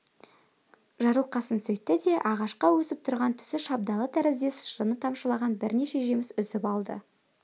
жарылқасын сөйтті де ағашқа өсіп тұрған түсі шабдалы тәріздес шырыны тамшылаған бірнеше жеміс үзіп алды